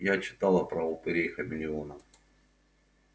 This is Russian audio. я читала про упырей хамелеонов